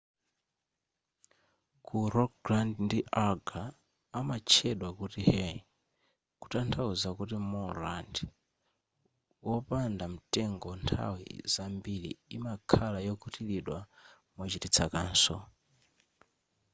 ku rogaland ndi agder amatchedwa kuti hei kutanthauza kuti moorland wopanda mtengo nthawi zambiri imakhala yokutilidwa mochititsa kaso